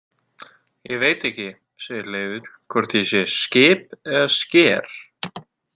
Ég veit ekki, segir Leifur, „hvort ég sé skip eða sker“